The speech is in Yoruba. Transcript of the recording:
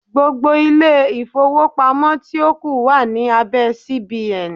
Gbogbo ilé-ìfowópamọ́ tí ó kù wà ní abẹ́ CBN.